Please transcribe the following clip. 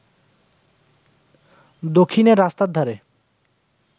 দক্ষিণে রাস্তার ধারে